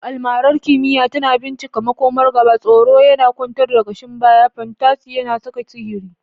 Almarar kimiyya tana bincika makomar gaba, tsoro yana kwantar da kashin baya, fantasy yana saka sihiri.